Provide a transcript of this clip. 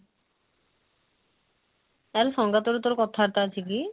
ତାହେଲେ ସଂଗାତ ର ତୋର କଥା ବାର୍ତା ଅଛି କି?